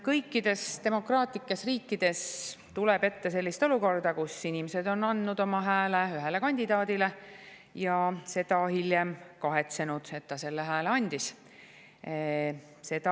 Kõikides demokraatlikes riikides tuleb ette sellist olukorda, kus inimesed on andnud oma hääle ühele kandidaadile ja seda, et nad selle hääle andsid, hiljem kahetsenud.